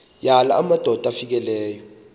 yala madoda amfikeleyo